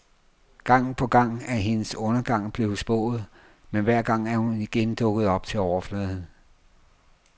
Gang på gang er hendes undergang blevet spået, men hver gang er hun igen dukket op til overfladen.